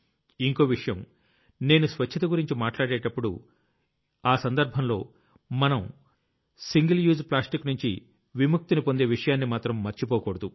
ఇంకో విషయం నేను స్వచ్ఛత గురించి మాట్లాడేటప్పుడు ఆ సందర్భంలో మనం సింగిల్ యూజ్ ప్లాస్టిక్ నుంచి విముక్తిని పొందే విషయాన్ని మాత్రం మర్చిపోకూడదు